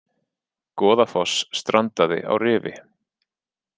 Goðafoss strandaði á rifi